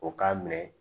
O k'a minɛ